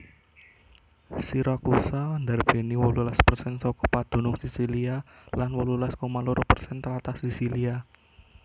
Siracusa ndarbèni wolulas persen saka padunung Sisilia lan wolulas koma loro persen tlatah Sisilia